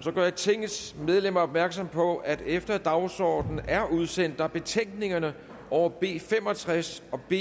så gør jeg tingets medlemmer opmærksom på at efter dagsordenen er udsendt er betænkningerne over b fem og tres og b